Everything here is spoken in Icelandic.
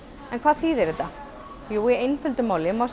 en hvað þýðir þetta í einföldu máli má